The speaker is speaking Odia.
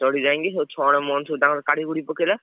ଚଢି ଯାଇକି ସବୁ ଛଣ ମଣ ସବୁ ତାଙ୍କର କାଢି କୁଢି ପକେଇଲା।